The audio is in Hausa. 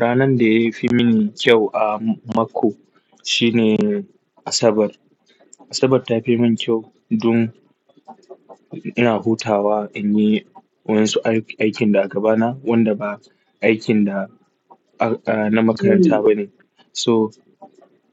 Ranan da ya fi mini kyau a mako shi ne Asabar. Asabar ta fi min kyau don ina hutawa in yi waɗansu aikin da a gabana wanda ba aikin da ba na makaranta bane. So